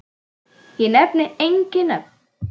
Ég nefni engin nöfn.